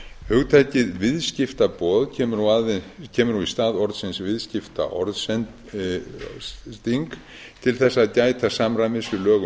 hugtakið viðskiptaboð kemur nú í stað orðsins viðskiptaorðsending til þess að gæta samræmis við lög um